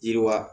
Yiriwa